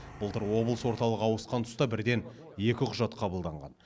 былтыр облыс орталығы ауысқан тұста бірден екі құжат қабылданған